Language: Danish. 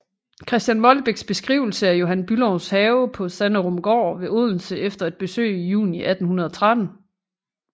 Christian Molbechs beskrivelse af Johan Bülows have på Sanderumgaard ved Odense efter et besøg juni 1813